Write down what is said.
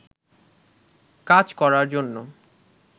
কাজ করার জন্য